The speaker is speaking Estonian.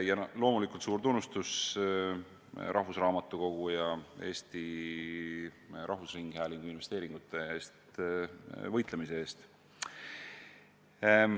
Ja loomulikult suur tunnustus Eesti Rahvusraamatukogu ja Eesti Rahvusringhäälingu investeeringute eest võitlemise eest!